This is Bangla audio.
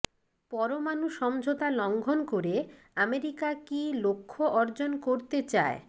পরমাণু সমঝোতা লঙ্ঘন করে আমেরিকা কি লক্ষ্য অর্জন করতে চায়